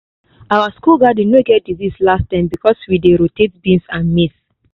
our school garden no get disease last term because we dey rotate beans and maize.